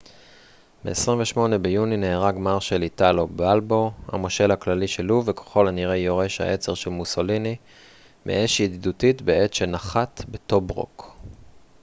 ב-28 ביוני נהרג מרשל איטלו בלבו המושל הכללי של לוב וככל הנראה יורש העצר של מוסוליני מאש ידידותית בעת שנחת בטוברוק